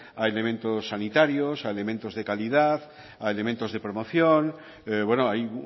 a elementos sanitarios a elementos de calidad a elementos de promoción bueno hay